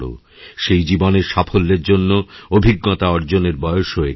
সেই জীবনের সাফল্যের জন্যঅভিজ্ঞতা অর্জনের বয়সও এটাই